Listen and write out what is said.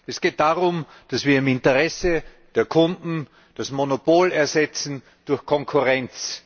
Es geht darum, dass wir im Interesse der Kunden das Monopol ersetzen durch Konkurrenz.